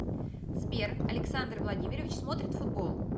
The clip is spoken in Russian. сбер александр владимирович смотрит футбол